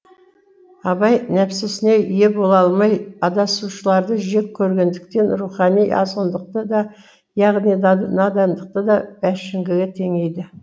абай нәпсісіне ие бола алмай адасушыларды жек көргендіктен рухани азғындықты да яғни надандықты да бәңшіге теңейді